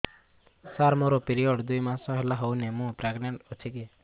ସାର ମୋର ପିରୀଅଡ଼ସ ଦୁଇ ମାସ ହେଲା ହେଇନି ମୁ ପ୍ରେଗନାଂଟ ଅଛି କି